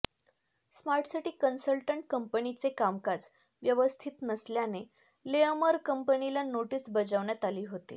smart city consultant कंपनीचे कामकाज व्यवस्थित नसल्याने लेअमर कंपनीला नोटीस बजावण्यात आली होती